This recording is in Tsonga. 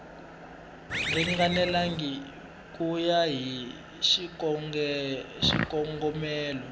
ringanelangi ku ya hi xikongomelo